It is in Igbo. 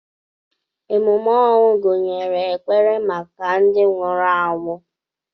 Ememe ọnwụ gụnyere ekpere maka ndị nwụrụ anwụ.